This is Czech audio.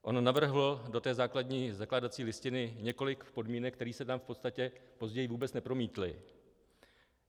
On navrhl do té základní zakládací listiny několik podmínek, které se tam v podstatě později vůbec nepromítly.